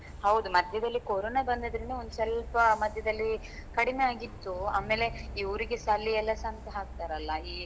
ಹೌದು ಮಧ್ಯದಲ್ಲಿ ಕೊರೋನಾ ಬಂದ್ರದಿಂದ ಒಂದ್ಸ್ವಲ್ಪ ಮಧ್ಯದಲ್ಲಿ ಕಡಿಮೆ ಆಗಿತ್ತು ಆಮೇಲೆ ಇವ್ರಿಗೆಸ ಅಲ್ಲಿ ಎಲ್ಲ ಸಂತೆ ಹಾಕ್ತಾರಲ್ಲ ಈ.